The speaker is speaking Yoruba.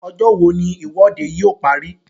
Ọjọ́ wo ni ìwọ́de yóò parí?